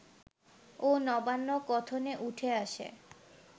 ও নবান্ন কথনে উঠে আসে